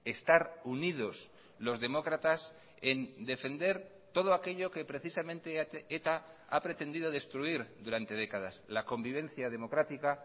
estar unidos los demócratas en defender todo aquello que precisamente eta ha pretendido destruir durante décadas la convivencia democrática